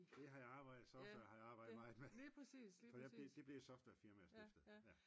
Det jeg har arbejdet i software har jeg arbejdet meget med for det blev et software firma jeg stiftede